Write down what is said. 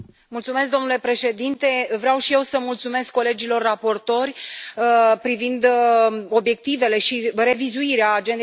Domnule președinte, vreau și eu să mulțumesc colegilor raportori privind obiectivele și revizuirea agendei